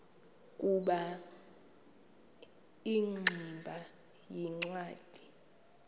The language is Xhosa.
ukuba ingximba yincwadi